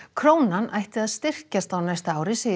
krónan ætti að styrkjast á næsta ári segir